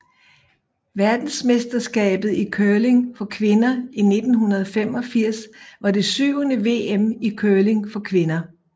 Verdensmesterskabet i curling for kvinder 1985 var det syvende VM i curling for kvinder